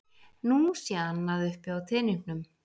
Nú sé annað uppi á teningnum